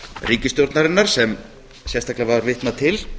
ríkisstjórnarinnar sem sérstaklega var vitnað til